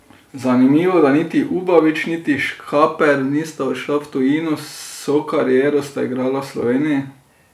Zanimivo, da niti Ubavič niti Škaper nista odšla v tujino, vso kariero sta igrala v Sloveniji.